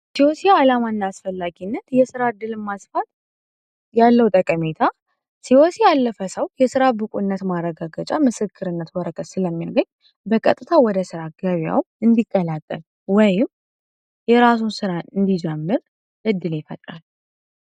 ሲኦሲ ዓላማና አስፈላጊነት የስራ ዕድል ማስፋት ያለው ጠቀሜታ ሲኦሲ ያለፈ ሰው የስራ ብቁነት ማረጋገጫ ምስክርነት ወረቀት ስለሚያገኝ በቀጥታ ወደ ስራ ገበያው እንዲቀላቀል ወይም የራሱ ስራ እንዲጀምር እድል ይፈጥራል።